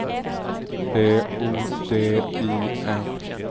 B O D I N